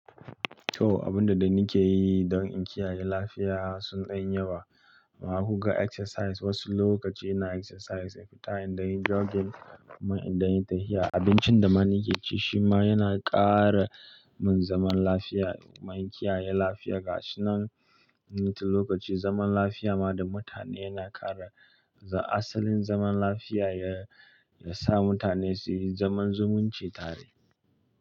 To, abinda dai nikeyi don in kiyaye lafiya sun ɗan yi yawa. Muna buga exercise, wasu lokaci ina exercise, fita in ɗanyi jogging, kuma in ɗanyi tahiya. Abincin da mana keyi shi ma yana kara mun zaman lafiya. Kuma in kiyaye lafiya ga shi nan, ni tun lokaci zaman lafiya ma da mutane yana ƙara, asalin zaman lafiya ya, ya sa mutane su yi zaman zumunci tare.